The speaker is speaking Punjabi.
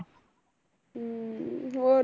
ਅਮ ਹੋਰ